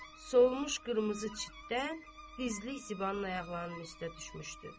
Sovulmuş qırmızı çitdən gizlik Zibanın ayaqlarının üstə düşmüşdü.